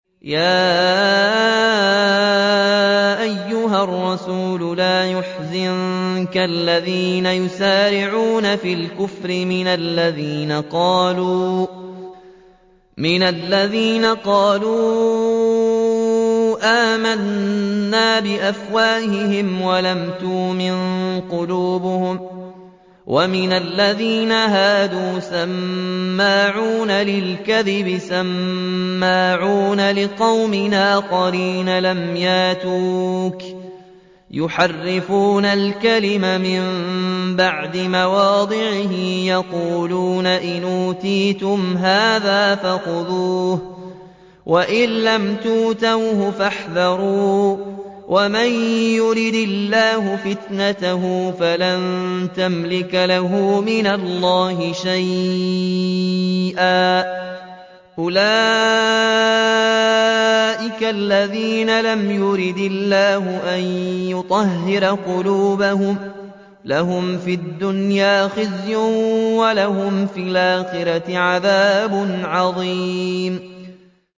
۞ يَا أَيُّهَا الرَّسُولُ لَا يَحْزُنكَ الَّذِينَ يُسَارِعُونَ فِي الْكُفْرِ مِنَ الَّذِينَ قَالُوا آمَنَّا بِأَفْوَاهِهِمْ وَلَمْ تُؤْمِن قُلُوبُهُمْ ۛ وَمِنَ الَّذِينَ هَادُوا ۛ سَمَّاعُونَ لِلْكَذِبِ سَمَّاعُونَ لِقَوْمٍ آخَرِينَ لَمْ يَأْتُوكَ ۖ يُحَرِّفُونَ الْكَلِمَ مِن بَعْدِ مَوَاضِعِهِ ۖ يَقُولُونَ إِنْ أُوتِيتُمْ هَٰذَا فَخُذُوهُ وَإِن لَّمْ تُؤْتَوْهُ فَاحْذَرُوا ۚ وَمَن يُرِدِ اللَّهُ فِتْنَتَهُ فَلَن تَمْلِكَ لَهُ مِنَ اللَّهِ شَيْئًا ۚ أُولَٰئِكَ الَّذِينَ لَمْ يُرِدِ اللَّهُ أَن يُطَهِّرَ قُلُوبَهُمْ ۚ لَهُمْ فِي الدُّنْيَا خِزْيٌ ۖ وَلَهُمْ فِي الْآخِرَةِ عَذَابٌ عَظِيمٌ